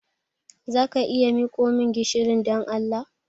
Za a iya miko min gishirin, don Allah?